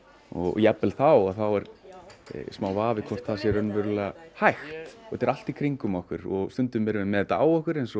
jafnvel þá er smá vafi um hvort það sé raunverulega hægt þetta er allt í kringum okkur stundum erum við með þetta á okkur eins og